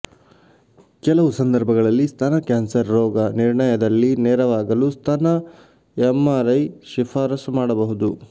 ಕೆಲವು ಸಂದರ್ಭಗಳಲ್ಲಿ ಸ್ತನ ಕ್ಯಾನ್ಸರ್ ರೋಗನಿರ್ಣಯದಲ್ಲಿ ನೆರವಾಗಲು ಸ್ತನ ಎಮ್ಆರ್ಐ ಶಿಫಾರಸು ಮಾಡಬಹುದು